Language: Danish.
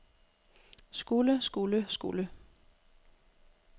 skulle skulle skulle